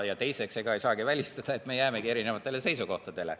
Ja teiseks, ega ei saa välistada, et me jäämegi erinevatele seisukohtadele.